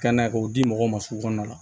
Ka na k'o di mɔgɔw ma sugu kɔnɔ